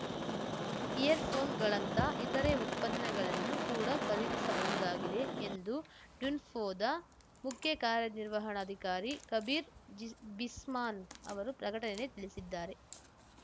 year ಫೋನ್‌ಗಳಂತಹ ಇತರೆ ಉತ್ಪನ್ನಗಳನ್ನು ಕೂಡ ಖರೀದಿಸಬಹುದಾಗಿದೆ ಎಂದು ಡುನ್ಫೋದ ಮುಖ್ಯಕಾರ್ಯನಿರ್ವಹಣಾಧಿಕಾರಿ ಕಬೀರ್ ಜಿಸ್ ಬಿಸ್ಮಾನ್ ಅವರು ಪ್ರಕಟಣೆಯಲ್ಲಿ ತಿಳಿಸಿದ್ದಾರೆ